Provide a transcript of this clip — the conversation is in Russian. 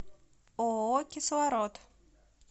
ооо кислород